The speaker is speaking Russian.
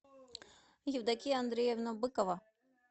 евдокия андреевна быкова